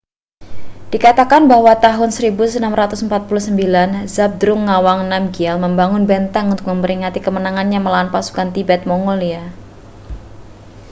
dikatakan bahwa pada tahun 1649 zhabdrung ngawang namgyel membangun benteng untuk memperingati kemenangannya melawan pasukan tibet-mongolia